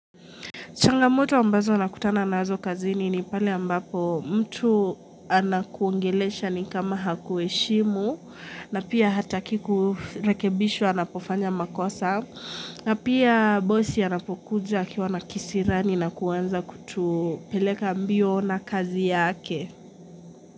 Changamoto ambazo nakutana nazo kazini ni pale ambapo mtu anakuongelesha ni kama hakuheshimu na pia hataki kurekebishwa anapofanya makosa na pia bossi anapokuja akiwa nakisirani na kuwanza kutupeleka mbio na kazi yake.